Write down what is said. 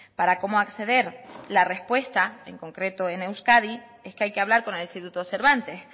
para cómo acceder la respuesta en concreto en euskadi es que hay que hablar con el instituto cervantes